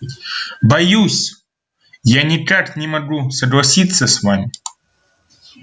боюсь я никак не могу согласиться с вами